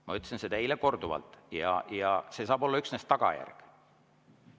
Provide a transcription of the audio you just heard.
Ma ütlesin seda eile korduvalt ja see saab olla üksnes tagajärg.